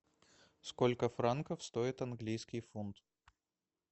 сколько франков стоит английский фунт